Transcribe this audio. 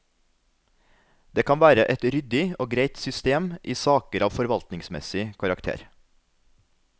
Dette kan være et ryddig og greit system i saker av forvaltningsmessig karakter.